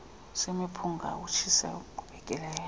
semiphunga ukutshisa okoqhubekekayo